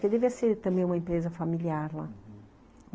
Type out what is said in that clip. Porque devia ser também uma empresa familiar lá, uhum.